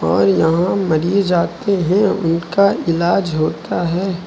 और यहां मरीज आते है उनका इलाज होता है।